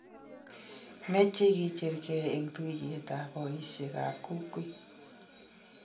meche ke cheergei eng' tuyietab boisiekab kokwet.